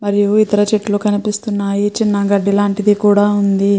మరియు ఇతర చెట్లు కనిపిస్తున్నాయి. చిన్న గడ్డి లాంటిది కూడ ఉంది.